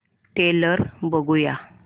trailer बघूया